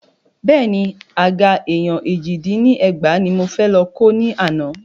Bẹ́ẹ̀ni, Àga èèyàn èjì dín ní ẹgbàá ní mo fẹ́ lọ kó ni àná.